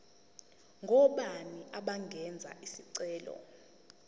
ngobani abangenza isicelo